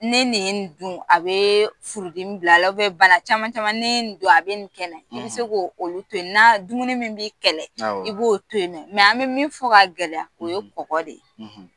Ne nin ye ni dun a bɛ furudimi bil'ala bɛ bala u biyɛn bana caman caman n'i ye ni dun a bɛ nin kɛnɛ n na i se k'olu to yen na dumuni min b'i kɛlɛ awɔ i b'o to yen mɛ mɛ an bɛ min fɔ ka gɛlɛya o ye kɔgɔ de ye